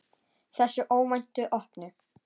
Þessi óvænta opnun